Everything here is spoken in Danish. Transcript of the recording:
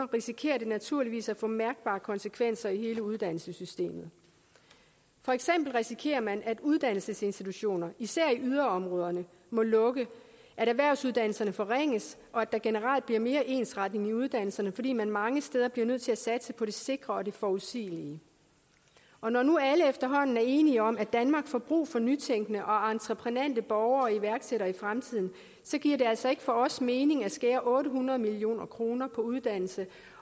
risikerer det naturligvis at få mærkbare konsekvenser i hele uddannelsessystemet for eksempel risikerer man at uddannelsesinstitutioner især i yderområderne må lukke at erhvervsuddannelserne forringes og at der generelt bliver mere ensretning i uddannelserne fordi man mange steder bliver nødt til at satse på det sikre og det forudsigelige og når nu alle efterhånden er enige om at danmark får brug for nytænkende og entreprenante borgere og iværksættere i fremtiden så giver det altså ikke for os mening at skære otte hundrede million kroner på uddannelse